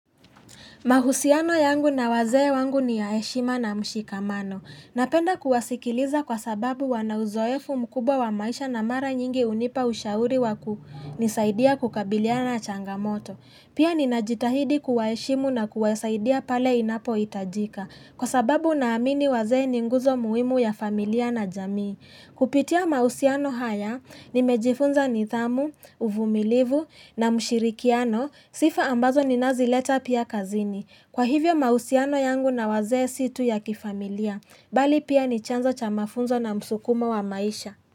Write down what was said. Mahusiano yangu na wazee wangu ni ya heshima na mshikamano. Napenda kuwasikiliza kwa sababu wanauzoefu mkubwa wa maisha na mara nyingi hunipa ushauri waku nisaidia kukabiliana changamoto. Pia ninajitahidi kuwaeshimu na kuwasaidia pale inapo itajika kwa sababu naamini wazee ninguzo muhimu ya familia na jamii. Kupitia mausiano haya, nimejifunza ni dhamu, uvumilivu na mshirikiano, sifa ambazo ninazileta pia kazini. Kwa hivyo mahusiano yangu na wazee situ ya kifamilia, bali pia ni chanzo cha mafunzo na msukumo wa maisha.